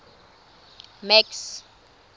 max